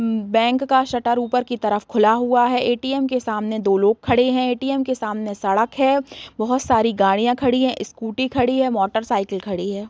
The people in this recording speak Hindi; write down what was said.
अम बैंक का शटर उपर की तरफ खुला हुआ है ए.टी.एम. के सामने दो लोग खड़े हैं ए.टी.एम. के सामने सड़क है बहुत सारी गाड़ियाँ खड़ी हैं स्कूटी खड़ी है मोटर साइकिल खड़ी है |